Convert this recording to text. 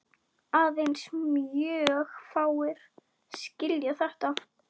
Aðeins mjög fáir skilja þetta.